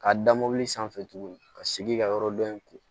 K'a da mobili sanfɛ tuguni ka segin ka yɔrɔ dɔ in kun